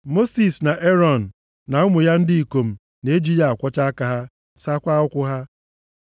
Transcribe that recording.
Mosis, na Erọn, na ụmụ ya ndị ikom na-eji ya akwọcha aka ha, sakwaa ụkwụ ha.